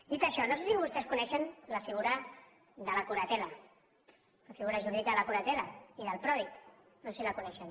dit això no sé si vostès coneixen la figura de la curatela la figura jurídica de la curatela i del pròdig no sé si les coneixen